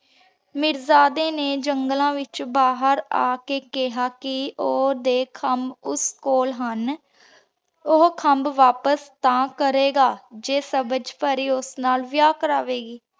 ਮੀਰਜਾਦੇ ਨੇ ਜੰਗਲਾਂ ਵਿਚੋਂ ਬਾਹਿਰ ਆ ਕੇ ਕੇਹਾ ਕਿ ਓ ਓਹਦੇ ਖੰਭ ਓਸ ਕੋਲ ਹਨ ਊ ਖੰਭਾ ਵਾਪਿਸ ਤਾਂ ਕਰੇ ਗਾ ਜੇ ਸਬਝ ਪਰੀ ਓਸ ਨਾਲ ਵਿਯਾਹ ਕਰਾਵੇ ਗੀ।